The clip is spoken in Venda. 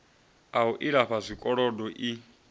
a u lifha zwikolodo i